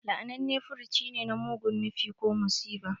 La'ananne furci ne na mugun nufi ko musiba.